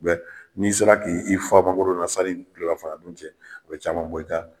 Mɛ n'i sera k'i i fa mangoro la sanni telera fana dun cɛ o bɛ caman bɔ i ka